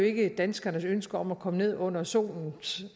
ikke danskernes ønske om at komme ned under solens